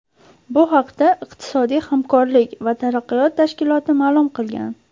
Bu haqda iqtisodiy hamkorlik va taraqqiyot tashkiloti ma’lum qilgan.